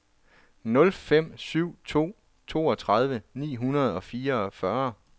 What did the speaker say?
nul fem syv to toogtredive ni hundrede og fireogfyrre